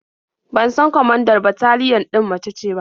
Ban san kwamandar bataliyan ɗin mace ce ba.